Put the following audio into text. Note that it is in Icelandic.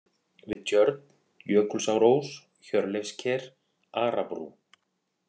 Við tjörn, Jökulsárós, Hjörleifsker, Arabrú